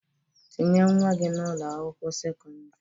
Tinye nwa gị n'Ụlọ akwụkwọ sekọndrị!